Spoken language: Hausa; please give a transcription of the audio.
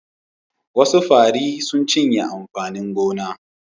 Wasu fari sun cinye amfanin gona.